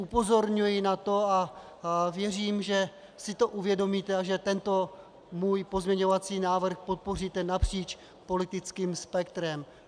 Upozorňuji na to a věřím, že si to uvědomíte a že tento můj pozměňovací návrh podpoříte napříč politickým spektrem.